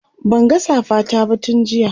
Banga safa ta ba tun jiya